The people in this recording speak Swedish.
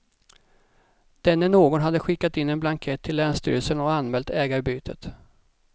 Denne någon hade skickat in en blankett till länsstyrelsen och anmält ägarbytet.